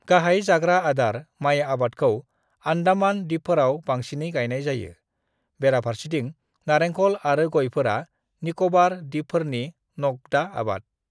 "गाहाय जाग्रा आदार माइ आबादखौ आन्डामान दिपफोराव बांसिनै गायनाय जायो, बेराफारसेथिं नारेंखल आरो गयफोरा निक'बार दिपफोरनि नगदा आबाद।"